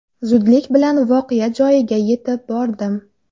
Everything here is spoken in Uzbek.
Zudlik bilan voqea joyiga yetib bordim.